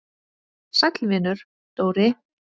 Sæll vinur, Dóri!